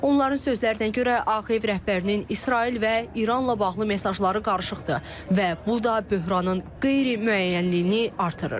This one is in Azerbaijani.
Onların sözlərinə görə, Ağ ev rəhbərinin İsrail və İranla bağlı mesajları qarışıqdır və bu da böhranın qeyri-müəyyənliyini artırır.